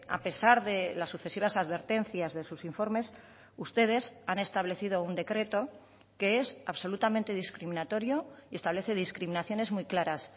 a pesar de las sucesivas advertencias de sus informes ustedes han establecido un decreto que es absolutamente discriminatorio y establece discriminaciones muy claras